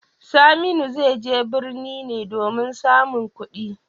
Saminu zai je birni ne domin samun kudi.